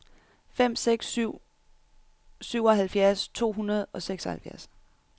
fem seks seks syv syvoghalvfjerds to hundrede og seksoghalvfjerds